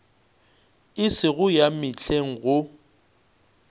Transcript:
e sego ya mehleng go